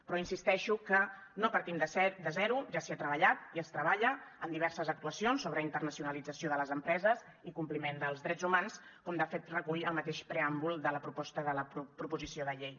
però insisteixo que no partim de zero ja s’hi ha treballat i es treballa en diverses actuacions sobre internacionalització de les empreses i compliment dels drets humans com de fet recull el mateix preàmbul de la proposta de proposició de llei